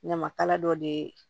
Ɲamakala dɔ de ye